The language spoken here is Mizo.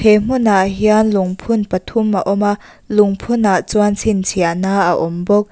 he hmunah hian lungphun pathum a awm a lungphun ah chuan chhinchhiahna a awm bawk.